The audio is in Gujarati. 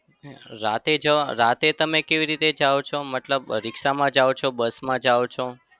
રાતે જવા રાતે તમે કેવી રીતે જાઓ છો? મતલબ રીક્ષામાં જાઓ છો bus માં જાઓ છો?